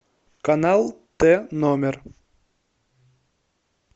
канал т номер